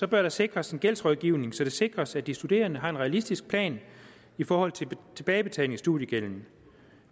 der sikres en gældsrådgivning så det sikres at de studerende har en realistisk plan i forhold til tilbagebetaling af studiegælden